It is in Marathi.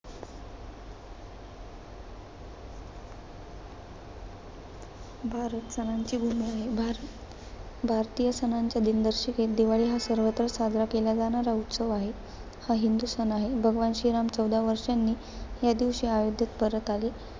भारत सणांची भूमी आहे. भारत, भारतीय सणांच्या दिनदर्शिकेत दिवाळी हा सर्वत्र साजरा केला जाणारा उत्सव आहे. हा हिंदू सण आहे. भगवान श्रीराम चंद्र, चौदा वर्षांनी या दिवशी अयोध्येत परत आले.